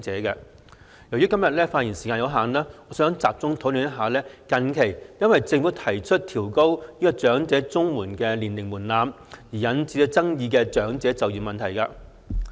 由於今天的發言時間有限，我想集中討論近期因政府提出調高長者綜合社會保障援助年齡門檻而引起爭議的長者就業問題。